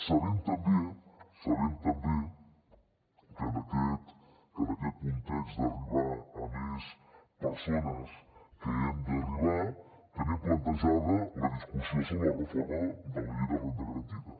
sabem també que en aquest context d’arribar a més persones que hem d’arribar tenim plantejada la discussió sobre la reforma de la llei de la renda garantida